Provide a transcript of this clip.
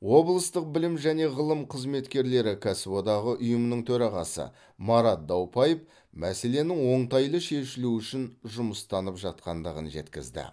облыстық білім және ғылым қызметкерлері кәсіподағы ұйымының төрағасы марат даупаев мәселенің оңтайлы шешілуі үшін жұмыстанып жатқандығын жеткізді